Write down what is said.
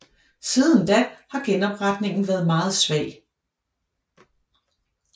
Siden da har genopretningen været meget svag